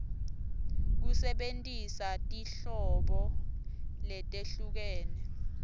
kusebentisa tinhlobo letehlukene